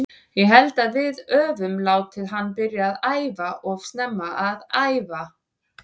Ég held að við öfum látið hann byrja að æfa of snemma að æfa.